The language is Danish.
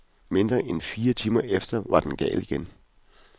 Mindre end fire timer efter var den gal igen.